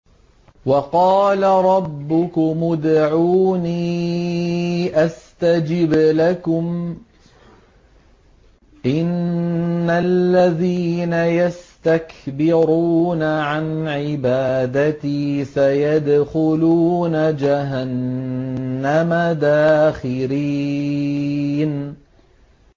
وَقَالَ رَبُّكُمُ ادْعُونِي أَسْتَجِبْ لَكُمْ ۚ إِنَّ الَّذِينَ يَسْتَكْبِرُونَ عَنْ عِبَادَتِي سَيَدْخُلُونَ جَهَنَّمَ دَاخِرِينَ